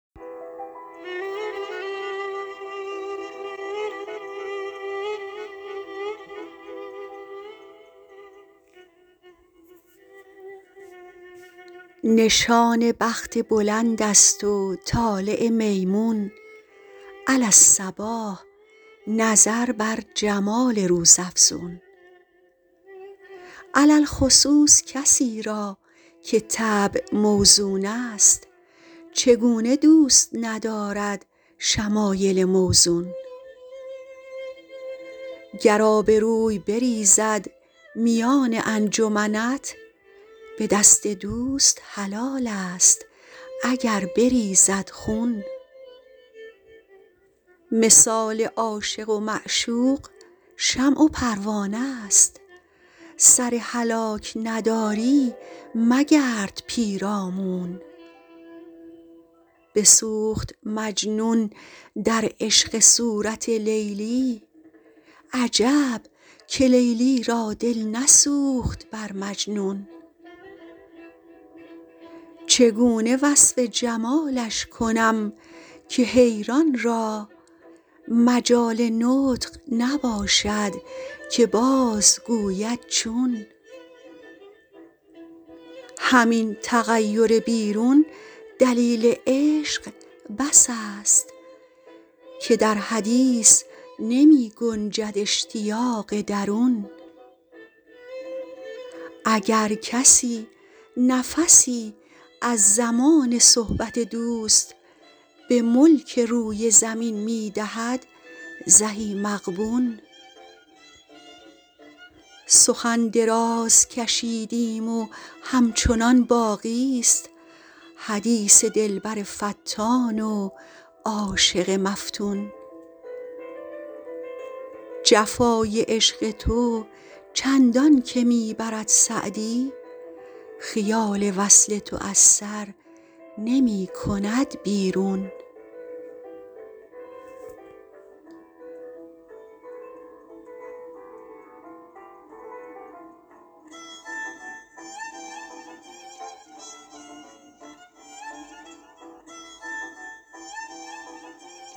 نشان بخت بلند است و طالع میمون علی الصباح نظر بر جمال روزافزون علی الخصوص کسی را که طبع موزون است چگونه دوست ندارد شمایل موزون گر آبروی بریزد میان انجمنت به دست دوست حلال است اگر بریزد خون مثال عاشق و معشوق شمع و پروانه ست سر هلاک نداری مگرد پیرامون بسوخت مجنون در عشق صورت لیلی عجب که لیلی را دل نسوخت بر مجنون چگونه وصف جمالش کنم که حیران را مجال نطق نباشد که بازگوید چون همین تغیر بیرون دلیل عشق بس است که در حدیث نمی گنجد اشتیاق درون اگر کسی نفسی از زمان صحبت دوست به ملک روی زمین می دهد زهی مغبون سخن دراز کشیدیم و همچنان باقی ست حدیث دلبر فتان و عاشق مفتون جفای عشق تو چندان که می برد سعدی خیال وصل تو از سر نمی کند بیرون